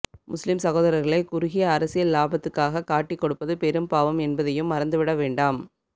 முஸ்லிம் சகோதர்களை குறுகிய அரசியல் இலாபத்துக்காக காட்டிக் கொடுப்பது பெரும் பாவம் என்பதையும் மறந்து விட வேண்டாம்